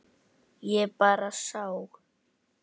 Ég bara sá.